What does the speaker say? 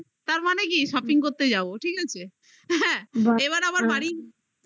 তার মানে কি shopping করতে যাবো ঠিক আছে এবার আবার বাড়ি লোকেরা বা